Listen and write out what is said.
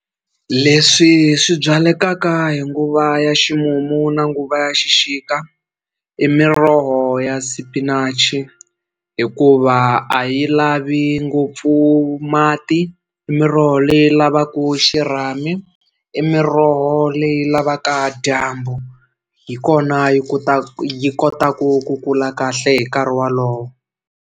Leswi swi byalekaka hi nguva ya ximumu na nguva ya xixika i miroho ya spinach hikuva a yi lavi ngopfu mati i miroho leyi lavaku xirhami i miroho leyi lavaka dyambu hi kona yi kota yi kota ku kula kahle hi nkarhi wolowo.